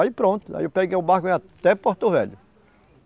Aí pronto, aí eu peguei o barco e fui até Porto Velho.